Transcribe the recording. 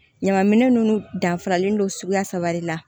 Ɲaman minɛn nunnu danfaralen don suguya saba de la